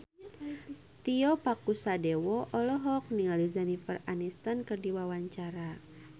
Tio Pakusadewo olohok ningali Jennifer Aniston keur diwawancara